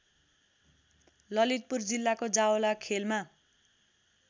ललितपुर जिल्लाको जावलाखेलमा